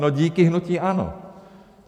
No díky hnutí ANO!